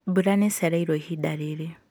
mbura nĩicereirwo ihinda riri